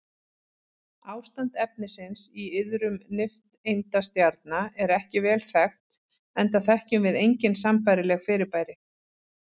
Ástand efnisins í iðrum nifteindastjarna er ekki vel þekkt enda þekkjum við engin sambærileg fyrirbæri.